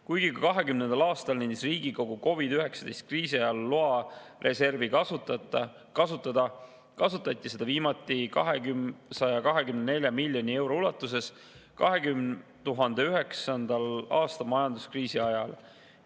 Kuigi ka 2020. aastal andis Riigikogu COVID‑19 kriisi ajal loa reservi kasutada, kasutati seda viimati 224 miljoni euro ulatuses 2009. aasta majanduskriisi ajal.